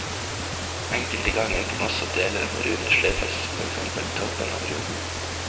Enkelte ganger kan også deler av en rune sløyfes, for eksempel toppen av runen.